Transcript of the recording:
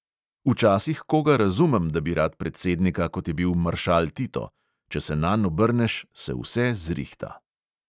Včasih koga razumem, da bi rad predsednika, kot je bil maršal tito – če se nanj obrneš, se vse "zrihta".